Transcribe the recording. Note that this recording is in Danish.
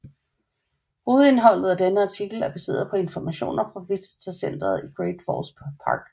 Hovedindholdet af denne artikel er baseret på informationer fra Visitor Centeret i Great Falls Park